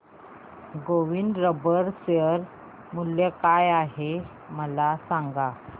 Govind rubber share मूल्य काय आहे मला सांगा